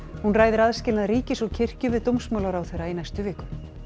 hún ræðir aðskilnað ríkis og kirkju við dómsmálaráðherra í næstu viku